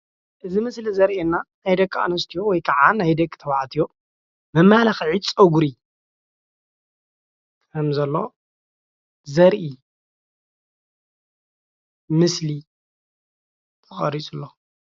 እዚ ኣብ ምስሊ ዘርእየና ደቂ ኣነስትዮ ወይ ከዓ ደቂ ተባዕትዮ መመላክዒ ፀጉሪ ከም ዘሎ ዘርእ ምስሊ እዩ፡፡